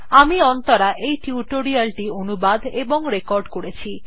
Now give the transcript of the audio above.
আমি অন্তরা এই টিউটোরিয়াল টি অনুবাদ এবং রেকর্ড করেছি